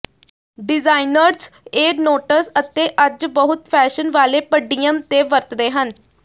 designers ਇਹ notes ਅਤੇ ਅੱਜ ਬਹੁਤ ਫੈਸ਼ਨ ਵਾਲੇ ਪਡੀਅਮ ਤੇ ਵਰਤਦੇ ਹਨ